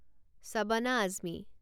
Shabana Azmi